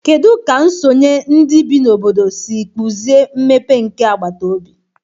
Kedu ka nsonye ndị bi n'obodo si kpụzie mmepe nke agbataobi?